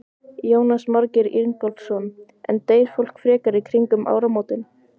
Jónas Margeir Ingólfsson: En deyr fólk frekar í kringum áramótin?